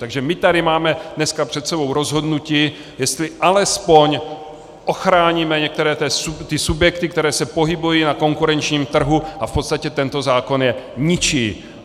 Takže my tady máme dneska před sebou rozhodnutí, jestli alespoň ochráníme některé ty subjekty, které se pohybují na konkurenčním trhu, a v podstatě tento zákon je ničí.